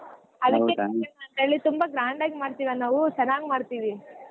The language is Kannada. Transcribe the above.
ತುಂಬಾ grand ಆಗಿ ಮಾಡ್ತೀವಿ ಅಣ್ಣಾ ಹು ಚನಾಗ್ ಮಾಡ್ತೀವಿ.